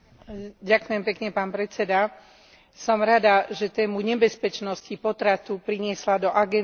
Som rada, že tému nebezpečnosti potratu priniesla do agendy Parlamentu socialistická frakcia.